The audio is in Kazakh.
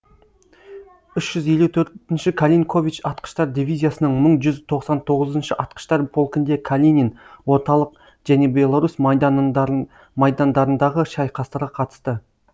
үш жүз елу төртінші калинкович атқыштар дивизиясының мың жүз тоқсан тоғызыншы атқыштар полкінде калинин орталық және беларусь майдандарындағы шайқастарға қатысты